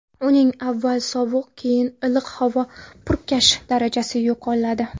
Uning avval sovuq, keyin iliq havo purkash darajasi yoqiladi.